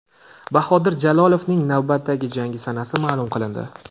Bahodir Jalolovning navbatdagi jangi sanasi ma’lum qilindi.